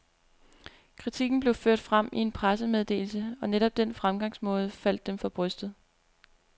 Kritikken blev ført frem i en pressemeddelse, og netop den fremgangsmåde faldt dem for brystet.